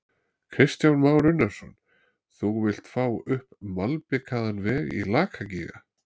Kristján Már Unnarsson: Þú vilt fá upp malbikaðan veg í Lakagíga?